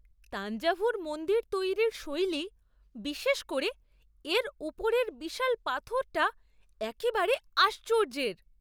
তাঞ্জাভুর মন্দির তৈরির শৈলী, বিশেষ করে এর উপরের বিশাল পাথরটা, একেবারে আশ্চর্যের!